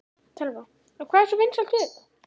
Telma: Og hvað er svona vinsælt við þetta?